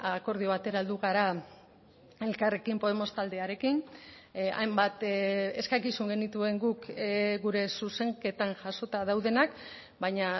akordio batera heldu gara elkarrekin podemos taldearekin hainbat eskakizun genituen guk gure zuzenketan jasota daudenak baina